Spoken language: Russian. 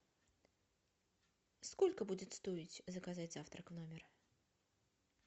сколько будет стоить заказать завтрак в номер